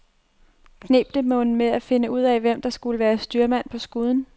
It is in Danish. Kneb det mon med at finde ud af, hvem der skulle være styrmand på skuden.